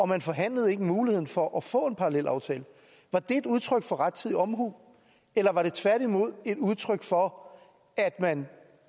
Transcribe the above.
man forhandlede ikke muligheden for at få en parallelaftale var det et udtryk for rettidig omhu eller var det tværtimod et udtryk for at man